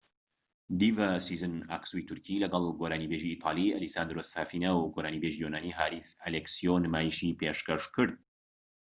دیڤا سیزین ئاکسوی تورکی لەگەڵ گۆرانی بێژی ئیتالی ئەلیساندرۆ سافینا و گۆرانی بێژی یۆنانی هاریس ئەلێکسیۆ نمایشی پێشکەشکرد